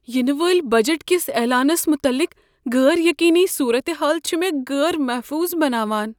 ینہٕ والہِ بجٹ کس اعلانس مطلق غٲر یقینی صورتحال چھ مےٚ غٲر محفوظ بناوان۔